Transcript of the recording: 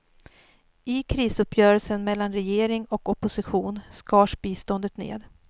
I krisuppgörelsen mellan regering och opposition skars biståndet ned.